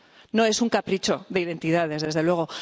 No es un capricho de identidades, desde luego.